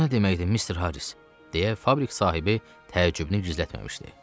Bu nə deməkdir, Mister Harris, deyə fabrik sahibi təəccübünü gizlətməmişdi.